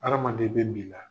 Hadamaden bɛ bi la.